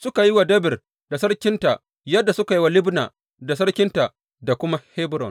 Suka yi wa Debir da sarkinta yadda suka yi wa Libna da sarkinta da kuma Hebron.